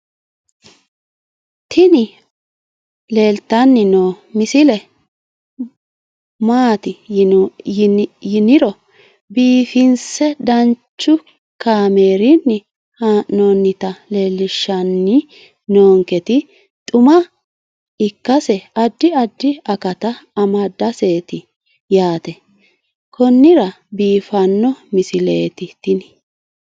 tini leeltanni noo misile maaati yiniro biifinse danchu kaamerinni haa'noonnita leellishshanni nonketi xuma ikkase addi addi akata amadaseeti yaate konnira biiffanno misileeti tini